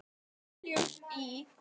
Teljum í!